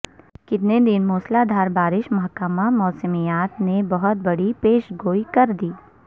کتنے دن موسلا دھار بارشیں محکمہ موسمیات نے بہت بڑی پیش گوئی کر دی